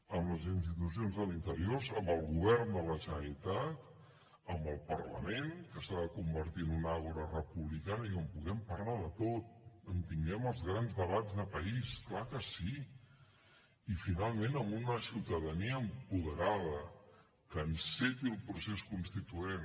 amb les institucions a l’interior amb el govern de la generalitat amb el parlament que s’ha de convertir en una àgora republicana i on puguem parlar de tot on tinguem els grans debats de país clar que sí i finalment amb una ciutadania apoderada que enceti el procés constituent